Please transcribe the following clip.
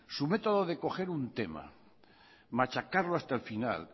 su método de coger un tema machacarlo hasta el final